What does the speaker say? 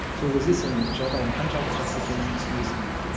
сол кезде сен жағдайың қаншалықты жақсы екенін түсінесің дейді